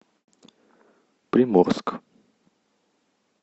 приморск